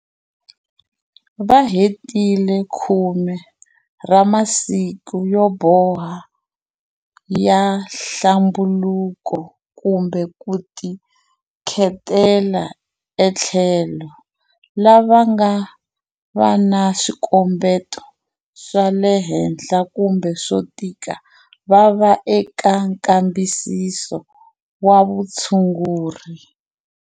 Va hetile 10 ra masiku yo boha ya nhlambulo kumbe ku tikhetela etlhelo. Lava nga va na swikombeto swale henhla kumbe swo tika va va eka nkambisiso wa vutshunguri.